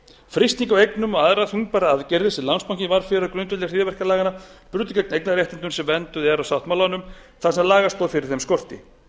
á eignum og aðrar þungbærar aðgerðir sem landsbankinn varð fyrir á grundvelli hryðjuverkalaganna brutu gegn eignarréttindum sem vernduð eru af sáttmálanum þar sem lagastoð fyrir þeim skorti